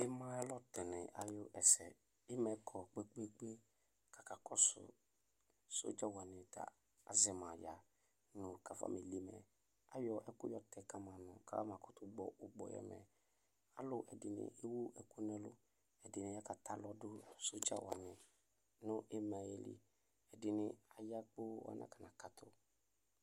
Ɩma ayʋ alɔtɔnɩ ayʋ ɛsɛ Ɩma yɛ kɔ kpe-kpe-kpe kʋ akakɔsʋ sɔdza wanɩ tɛ azɛ ma ya nʋ kafameli mɛ Ayɔ ɛkʋ yɔtɛ ka ma nʋ kafamakʋtʋ gbɔ ʋkpɔ yɛ mɛ Alʋ ɛdɩnɩ ewu ɛkʋ nʋ ɛlʋ, ɛdɩnɩ akatɛ alɔ dʋ sɔdza wanɩ nʋ ɩma yɛ li Ɛdɩnɩ aya kpoo anakɔnakatʋ